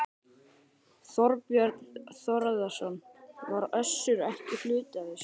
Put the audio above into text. Þorbjörn Þórðarson: Var Össur ekki hluti af þessu?